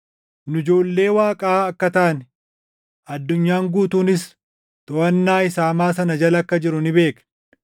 Nu ijoollee Waaqaa akka taane, addunyaan guutuunis toʼannaa isa hamaa sanaa jala akka jiru ni beekna.